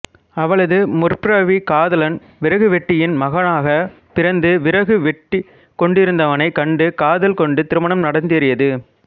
அவளது முற்பிறவிக் காதலன் விறகுவெட்டியின் மகனாகப் பிறந்து விறகு வெட்டிக்கொண்டிருந்தவனைக் கண்டு காதல் கொண்டு திருமணம் நடந்தேறியது